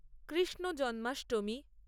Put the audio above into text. Krishna Janmashtami